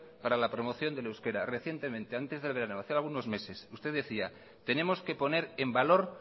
para la promoción del euskera recientemente antes del verano hace algunos meses usted decía tenemos que poner en valor